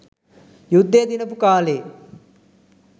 යුද්ධය දිනපු කාලේ